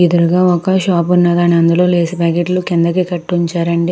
ఎదురుగా ఒక షాప్ ఉన్నాదండి. అందులో లేస్ ప్యాకెట్ లు కిందకి కట్టి ఉంచారండి.